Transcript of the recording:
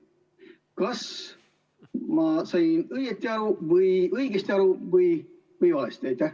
Kas ma sain õigesti aru või valesti?